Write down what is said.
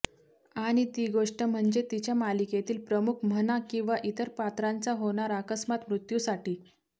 आणि ती गोष्ट म्हणजे तिच्या मालिकेतील प्रमुख म्हणा किंवा इतर पात्रांचा होणार अकस्मात मृत्यूसाठी